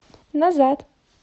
назад